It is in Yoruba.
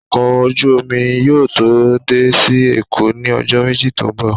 Ọkọ ojú omi yóò dé sí Èkó ní ọjọ́ méjì tó ń bọ̀